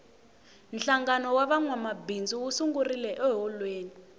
hlangano wa vamabindzu wu sungurile eholweni